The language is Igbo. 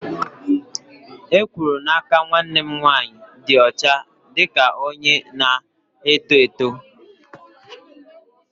E kwuru n'aka nwanne m nwanyị dị ọcha dị ka onye na-eto eto.